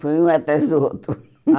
Foi um atrás do outro.